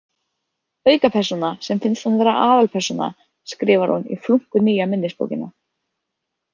Aukapersóna sem finnst hann vera aðalpersóna, skrifar hún í flunkunýja minnisbókina.